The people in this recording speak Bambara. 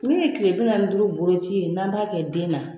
Min ye kile bi naani ni duuru boloci ye n'an b'a kɛ den na.